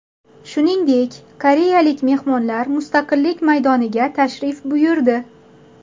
Shuningdek, koreyalik mehmonlar Mustaqillik maydoniga tashrif buyurdi.